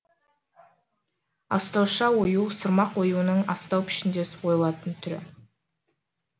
астауша ою сырмақ оюының астау пішіндес ойылатын түрі